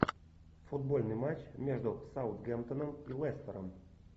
футбольный матч между саутгемптоном и лестером